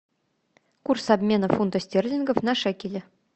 курс обмена фунтов стерлингов на шекели